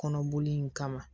Kɔnɔboli in kama